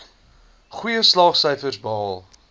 goeie slaagsyfers behaal